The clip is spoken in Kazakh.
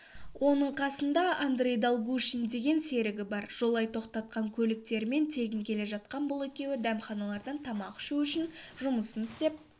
оның қасында андрей долгушин деген серігі бар жолай тоқтатқан көліктермен тегін келе жатқан бұл екеуі дәмханалардан тамақ ішу үшін жұмысын істеп